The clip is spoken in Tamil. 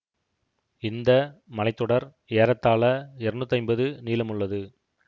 இந்த மலை தொடர் ஏறத்தாழ இருநூத்தி ஐம்பது நீளமுள்ளது